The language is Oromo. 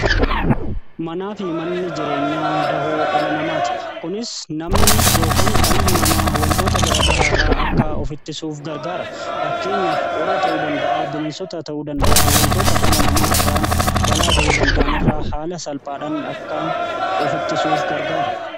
Manaa fi manni jireenya dahoo dhala namaa ti kunis namni ykan dhalli namaa wantoota garagaraa irraa akka of ittisuuf gargaara. fakkeenyaaf qorra ta'uu danda'aa bineensota ta'uu danda'a wantoota dhala namaa irraan balaa ga'uu danda'anirraa haala salphaadhaan akka of ittisuuf gargaara.